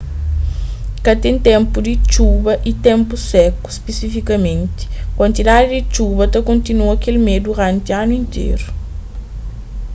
ka ten ténpu di txuba y ténpu seku spesifikamenti kuantidadi di txuba ta kontinua kel mé duranti anu interu